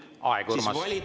Aeg, Urmas!